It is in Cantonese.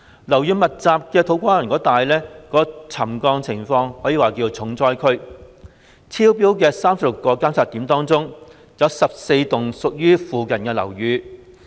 樓宇密集的土瓜灣一帶可說是沉降重災區，有36個監測點超標，涉及附近14幢樓宇。